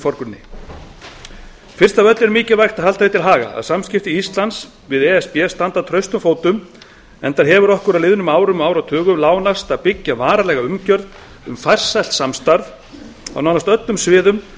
fyrst af öllu er mikilvægt að halda því til haga að samskipti íslands við e s b standa traustum fótum enda hefur okkur á liðnum árum og áratugum lánast að byggja varanlega umgjörð um farsælt samstarf á nánast öllum sviðum